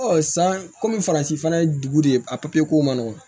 san kɔmi faransi fana ye dugu de a papiye ko man nɔgɔn